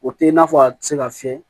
O tɛ i n'a fɔ a tɛ se ka fiyɛ